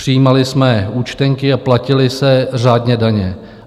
Přijímali jsme účtenky a platily se řádně daně.